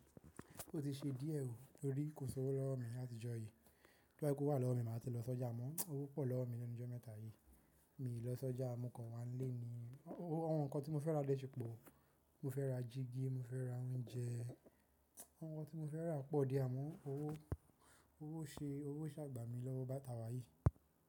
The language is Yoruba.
Ó ti ṣe díẹ̀ tórí kòsó ọwọ́ lowo mi láti ọjọ́ yìí. Tí oba wipe owo wà lọ́wọ́ mi màá ti lọ sọ́jà amọ́ Owó pọ̀ lọ́wọ́ mi lẹ́nu ìjọ́ mẹ́ta yìí. Mi lọ sọ́jà, mo kàn wá n ílé ni. Owó nǹkan tí mo fẹ́ rà dè ṣi pọ̀. Mo fẹ́ ra jíígi, mo fẹ́ ra oúnjẹ. Àwọn nǹkan tí mo fẹ́ rà pọ̀ die àmọ́ owó, owó ṣe, owó ṣàgbà mi lọ́wọ́ bá tàwà yìí.